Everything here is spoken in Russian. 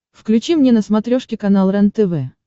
включи мне на смотрешке канал рентв